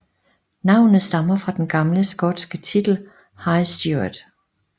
Navnet stammer fra den gamle skotske titel High Steward